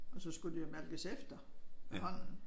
Og så skulle de jo malkes efter med hånden